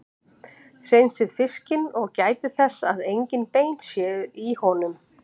Hreinsið fiskinn og gætið þess að engin bein séu í honum.